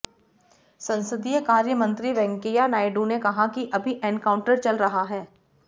संसदीय कार्यमंत्री वेंकैया नायडू ने कहा कि अभी एनकाउंटर चल रहा है